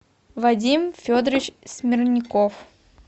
вадим федорович смирняков